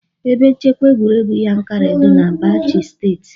Ebe nchekwa egwuregwu Yankari dị na Bauchi steeti.